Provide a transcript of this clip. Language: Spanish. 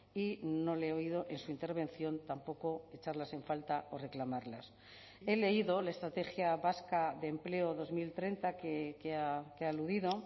y no le he oído en su intervención tampoco echarlas en falta o reclamarlas he leído la estrategia vasca de empleo dos mil treinta que ha aludido